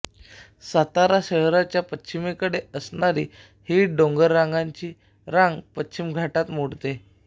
सातारा शहराच्या पश्चिमेकडे असणारी ही डोंगराची रांग पश्चिमघाटात मोडते